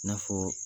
I n'a fɔ